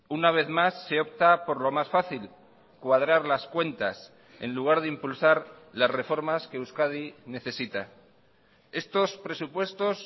una vez más se opta por lo más fácil cuadrar las cuentas en lugar de impulsar las reformas que euskadi necesita estos presupuestos